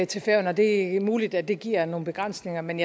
til færøerne og det er muligt at det giver nogle begrænsninger men